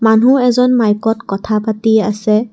মানুহ এজন মাইকত কথা পাতি আছে।